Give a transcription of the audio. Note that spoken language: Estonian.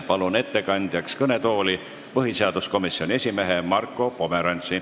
Palun ettekandeks kõnetooli põhiseaduskomisjoni esimehe Marko Pomerantsi.